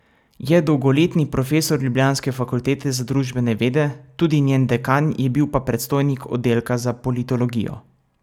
Je dolgoletni profesor ljubljanske Fakultete za družbene vede, tudi njen dekan je bil pa predstojnik oddelka za politologijo.